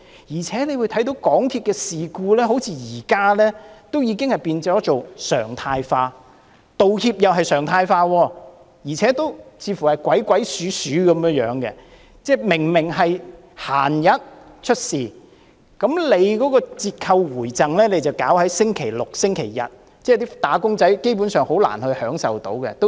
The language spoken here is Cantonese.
而且，大家可看到，現在港鐵發生事故好像已變成常態，連道歉也變成常態，還要是鬼鬼祟祟的樣子，即明明在平日出事，卻選在星期六和星期日給予折扣回贈，這樣，"打工仔"基本上很難享受到有關優惠。